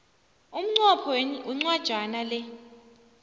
umnqopho wencwajana le